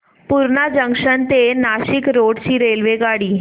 Purna junction ते Nashik road ची रेल्वेगाडी